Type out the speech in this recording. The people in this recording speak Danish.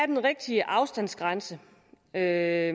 den rigtige afstandsgrænse er